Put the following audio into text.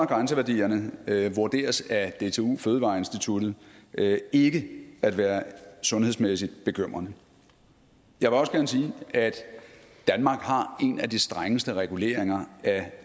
grænseværdierne vurderes af dtu fødevareinstituttet ikke at være sundhedsmæssigt bekymrende jeg vil også gerne sige at danmark har en af de strengeste reguleringer af